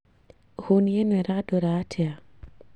Huni ìno ĩrandora atia